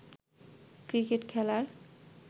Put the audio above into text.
cricket খেলার